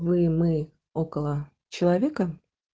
вы мы около человека